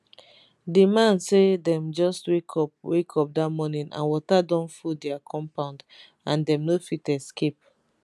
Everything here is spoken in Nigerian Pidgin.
di man say dem just wake up wake up dat morning and water don full dia compound and dem no fit escape